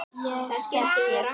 Ég þekki